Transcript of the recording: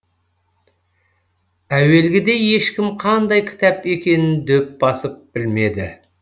әуелгіде ешкім қандай кітап екенін дөп басып білмеді